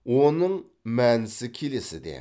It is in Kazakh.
оның мәнісі келесіде